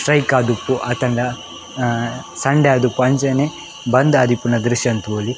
Strike ಆದಿಪ್ಪು ಅತಂಡ Sunday ಆದಿಪ್ಪು ಅಂಚನೆ ಬಂದ್ ಆದಿಪ್ಪುನ ದ್ರಶ್ಯನ್ ತೂವೊಲಿ.